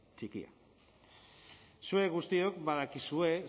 txikia zuek guztiok badakizue